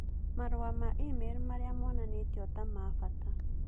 Marũa ma e-mail marĩa monanĩtio ta ma bata